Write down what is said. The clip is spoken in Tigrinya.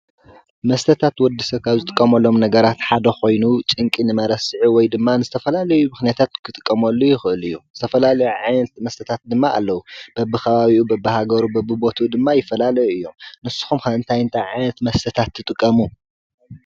መስተታት ወድ-ሰብ ካብ ዝጥቀመሎም ነገራት ሓደ ኮይኑ ጭንቂ ንመረስዒ ወይ ድማ ንዝተፈላለዩ ምክንያታት ክጥቀመሉ ይክእል እዩ ፤ ዝተፈላለዩ ዓይነት መስተ ድማ ኣለዉ ፤ በቢ ከባቢኡ በቢ ሃገሩ በቢቦትኡ ድማ ይፈላለዩ እዮም ። ንስኩምክ ታይታይ ዓይነታት መስተ ትጥቀሙ ?